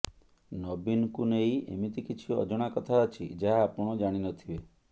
ନବୀନଙ୍କୁ ନେଇ ଏମିତି କିଛି ଅଜଣା କଥା ଅଛି ଯାହା ଆପଣ ଜାଣିନଥିବେ